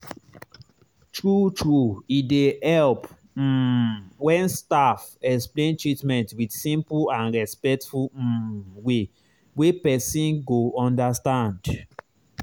true true e dey help um when staff explain treatment with simple and respectful um way wey person go understand.